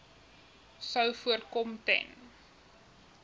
sou voorkom ten